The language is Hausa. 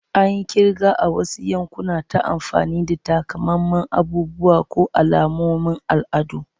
An yi kirga a wasu yankuna ta amfani da takamaiman abubuwa ko alamomin al'adu.